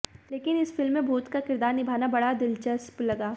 लेकिन इस फिल्म में भूत का किरदार निभाना बड़ा दिलचस्प लगा